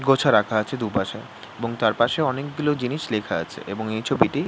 গোছা রাখা আছে দুপাশে এবং তার পাশে অনেক গুলো জিনিস লেখা আছে এবং এই ছবিটি --